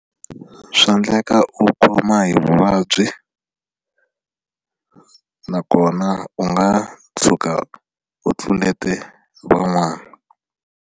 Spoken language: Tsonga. Swa endleka u khoma hi vuvabyi nakona u nga tshuka u tlulete van'wana.